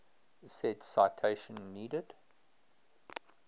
said citation needed